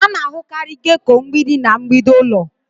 A na-ahụkarị gecko mgbidi na mgbidi ụlọ.